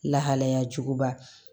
Lahalaya juguba